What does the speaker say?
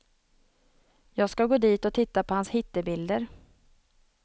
Jag ska gå dit och titta på hans hittebilder.